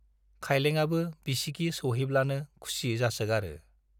खाइलेंआबो बिसिगि सौहैब्लानो खुसि जासोगारो।